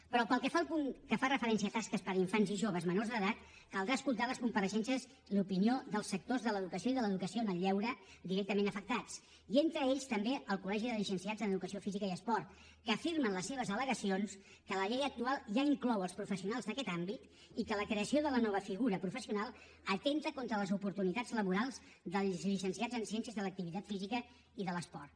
però pel que fa al punt que fa referència a tasques per a infants i joves menors d’edat caldrà escoltar les compareixences i l’opinió dels sectors de l’educació i de l’educació en el lleure directament afectats i entre ells també el coli esport que afirma en les seves alactual ja inclou els professionals d’aquest àmbit i que la creació de la nova figura professional atempta contra les oportunitats laborals dels llicenciats en ciències de l’activitat física i de l’esport